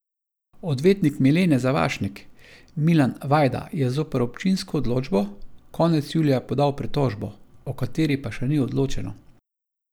Odvetnik Milene Zavašnik, Milan Vajda je zoper občinsko odločbo, konec julija podal pritožbo, o kateri pa še ni odločeno.